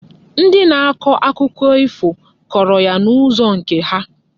Ndị na-akọ akụkọ ifo kọrọ ya n'ụzọ nke ha.